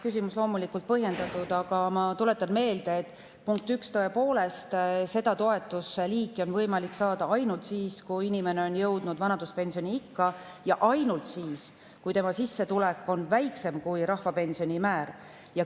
Küsimus on loomulikult põhjendatud, aga ma tuletan meelde, punkt üks, et tõepoolest, seda toetust on võimalik saada ainult siis, kui inimene on jõudnud vanaduspensioniikka, ja ainult siis, kui tema sissetulek on väiksem kui rahvapensioni määr.